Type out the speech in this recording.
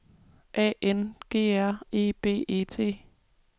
A N G R E B E T